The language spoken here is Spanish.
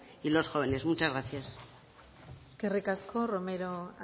y los jóvenes muchas gracias eskerrik asko romero